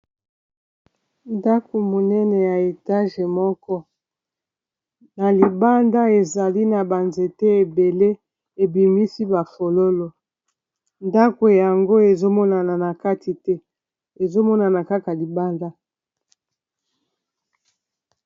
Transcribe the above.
Ndako monene ya etage moko, na libanda ezali na ba nzete ebele ebimisi ba fololo ndako yango ezo monana na kati te ezo monana kaka libanda.